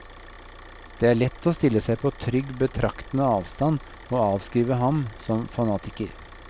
Det er lett å stille seg på trygg, betraktende avstand og avskrive ham som fanatiker.